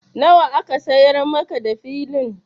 Nawa aka siyar maka da Filin?